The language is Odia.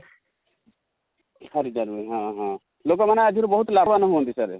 ଖାରି ଟା ରୁହେ ହାଁ ହାଁ ଲୋକ ମାନେ ଆଦେହରୁ ବହୁତ ଲଭାବନ ହୁଅନ୍ତି sir ?